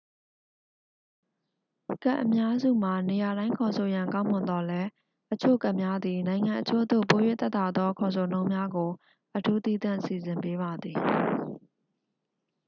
ကတ်အများစုမှာ နေရာတိုင်း ခေါ်ဆိုရန် ကောင်းမွန်သော်လည်း အချို့ကတ်များသည် နိုင်ငံအချို့သို့ ပို၍သက်သာသော ခေါ်ဆိုနှုန်းများကို အထူးသီးသန့် စီစဉ်ပေးပါသည်